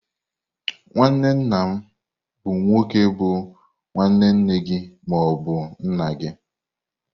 Nwanne nna bụ nwoke bu nwanne nna gị ma ọ bụ nne gị.